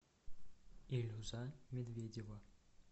илюза медведева